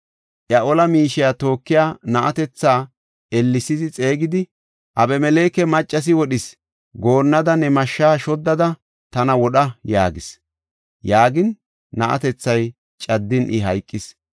Iya ola miishiya tookiya na7atetha ellesi xeegidi, “Abimeleke maccasi wodhis goonnaada ne mashshaa shoddada tana wodha” yaagis. Yaagin na7atethay caddin I hayqis.